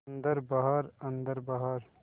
अन्दर बाहर अन्दर बाहर